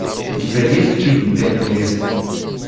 у тебя есть фильм пять невест